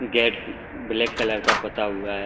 Gate black colour का पोता हुआ है।